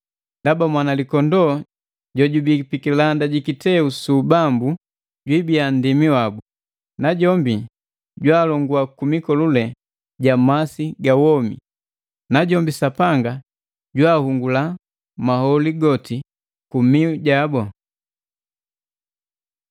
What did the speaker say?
ndaba Mwanalikondoo jojubi pikilanda ji kiteu su ubambu jwiibia nndimi wabu, najombi jwaalongua ku mikolule ja masi ga womi. Najombi Sapanga jwaahungula maholi goti ku miu gabu.”